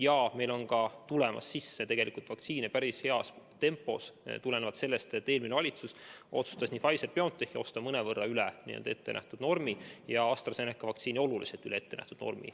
Vaktsiinid tulevad meil sisse päris heas tempos, tulenevalt sellest, et eelmine valitsus otsustas Pfizer-BioNTechi vaktsiini osta mõnevõrra üle ettenähtud normi ja AstraZeneca vaktsiini oluliselt üle ettenähtud normi.